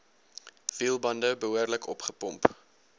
wielbande behoorlik opgepomp